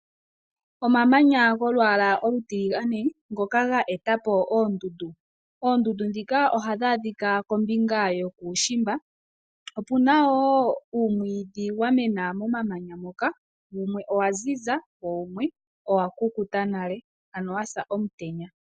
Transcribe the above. Omamanya golwaala olutiligane ngoka ga etapo oondundu. Oondundu ndhika oha dhi adhika kombinga yokuushimba. Opuna wo uumwidhi wamena momanya moka, wumwe owa ziza, wumwe owa kukuta nale, ano wasa omutenya.